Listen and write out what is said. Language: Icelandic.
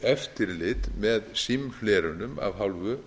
eftirlit með símhlerunum af hálfu